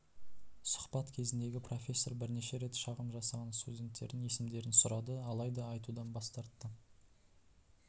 сұхбат кезіндегі профессор бірнеше рет шағым жасаған студенттердің есімдерін сұрады алайда айтудан бас тартты